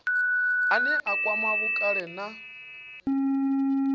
ane a kwama vhukale na